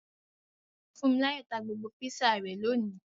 Funmilayo ta gbogbo Písà rẹ lóni.